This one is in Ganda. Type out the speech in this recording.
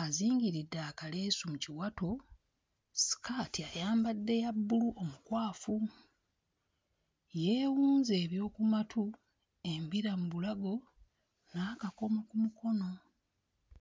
azingiridde akaleesu mu kiwato ssikaati ayambadde ya bbulu omukwafu, yeewunze eby'oku matu, embira mu bulago n'akakomo ku mukono.